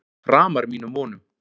Framar mínum vonum